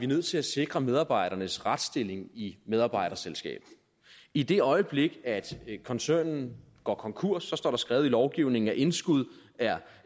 nødt til at sikre medarbejdernes retsstilling i medarbejderselskabet i det øjeblik at koncernen går konkurs står der skrevet i lovgivningen at indskud er